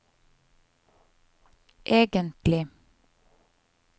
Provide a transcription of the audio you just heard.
egentlig